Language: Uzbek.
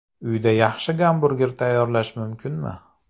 Uyda yaxshi gamburger tayyorlash mumkinmi?